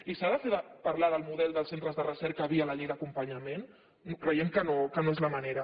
i s’ha de parlar del model dels centres de recerca via la llei d’acompanyament creiem que no és la manera